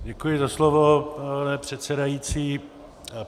Děkuji za slovo, pane předsedající.